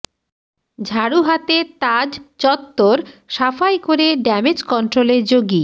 ঝাড়ু হাতে তাজ চত্বর সাফাই করে ড্যামেজ কন্ট্রোলে যোগী